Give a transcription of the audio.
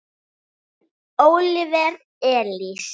Þinn Óliver Elís.